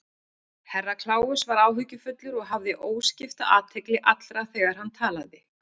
Herra Kláus var áhyggjufullur og hafði óskipta athygli allra þegar hann talaði.